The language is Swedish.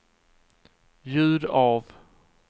ljud av